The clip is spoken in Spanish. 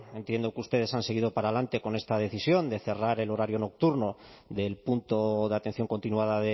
entiendo que ustedes han seguido para adelante con esta decisión de cerrar el horario nocturno del punto de atención continuada